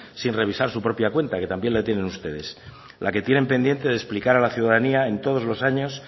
sin revisar su propia cuenta que también la tienen ustedes la que tienen pendiente de explicar a la ciudadanía en todos los años